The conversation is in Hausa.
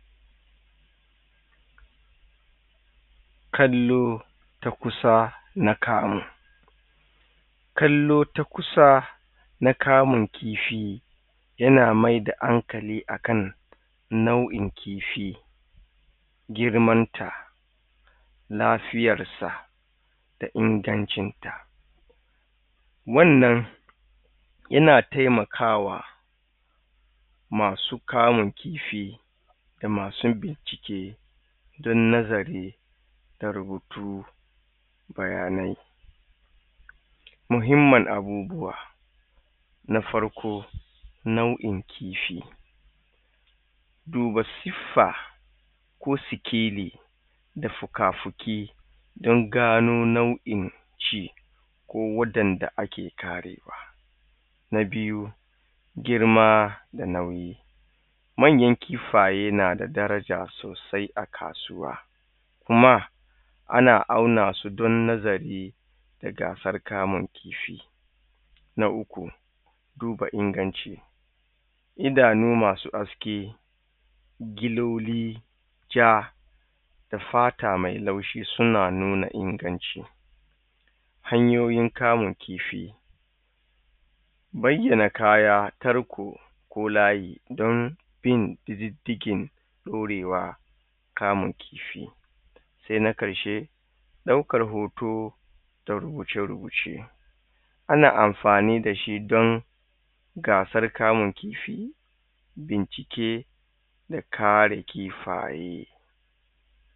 kallo ta kusa na kamu kallo ta kusa na kamun kifi yana maida hankali akan nau'in kifi girman ta lafiyar sa da ingancin ta wannan yana taimakawa masu kama kifi da masu bincike don nazari da rubutu bayanai muhimman abubuwa na farko nau'in kifi duba siffa ko sikeli da fuka fuki don gano nau'in shi ko wadanda ake kare na biyu girma da nauyi manyan kifaye na da daraja sosai a kasuwa kuma ana auna su don nazari da gasar kamun kifi na uku duba inganci idanu masu haske kiloli ja da fata mai laushi suna nuna inganci hanyoyin kamun kifi bayyana kaya tarko ko layi don bin diddigin ɗorewa kamun kifi sai na karshe ɗaukar hoto da rubuce rubuce ana amfani da shi don gasar kamun kifi bincike da karin kifaye